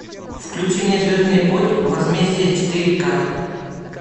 включи мне звездный путь возмездие четыре ка